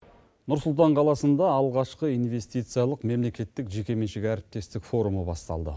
нұрсұлтан қаласында алғашқы инвестициялық мемлекеттік жекеменшік әріптестік форумы басталды